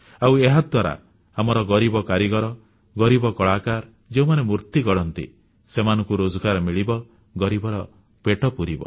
ଆଉ ଏହାଦ୍ୱାରା ଆମର ଗରିବ କାରିଗର ଗରିବ କଳାକାର ଯେଉଁମାନେ ମୂର୍ତ୍ତି ଗଢ଼ନ୍ତି ସେମାନଙ୍କୁ ରୋଜଗାର ମିଳିବ ଗରିବର ପେଟ ପୁରିବ